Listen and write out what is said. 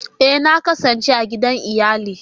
Ee! Na kasance a gidan iyali